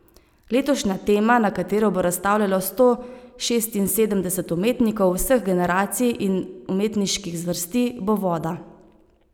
Letošnja tema, na katero bo razstavljalo sto šestinosemdeset umetnikov vseh generacij in umetniških zvrsti, bo voda.